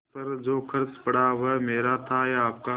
उस पर जो खर्च पड़ा वह मेरा था या आपका